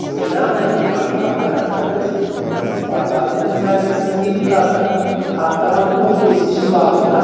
снежана имашева қазақстан республикасы парламенті мәжілісінің депутаты хаттаманың он бесінші бабында